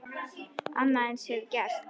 Annað eins hefur gerst!